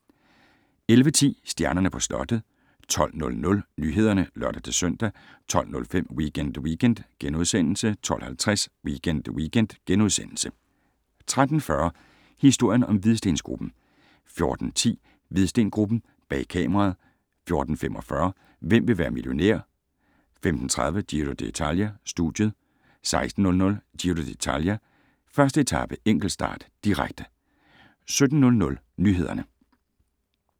11:10: Stjernerne på slottet 12:00: Nyhederne (lør-søn) 12:05: Weekend Weekend * 12:50: Weekend Weekend * 13:40: Historien om Hvidstengruppen 14:10: Hvidsten Gruppen: Bag kameraet 14:45: Hvem vil være millionær? 15:30: Giro dItalia: Studiet 16:00: Giro d´Italia: 1. etape - enkeltstart, direkte 17:00: Nyhederne